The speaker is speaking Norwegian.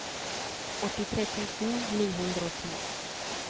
åttitre tusen ni hundre og ti